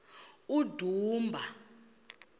udumba